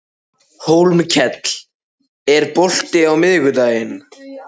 Hólmkell, er bolti á miðvikudaginn?